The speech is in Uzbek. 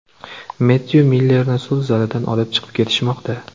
Mettyu Millerni sud zalidan olib chiqib ketishmoqda.